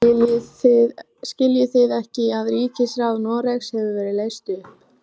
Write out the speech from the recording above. Skiljið þið ekki að ríkisráð Noregs hefur verið leyst upp!